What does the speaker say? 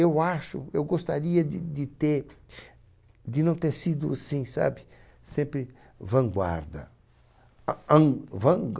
Eu acho, eu gostaria de de ter, de não ter sido assim, sabe, sempre vanguarda.